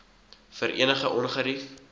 vir enige ongerief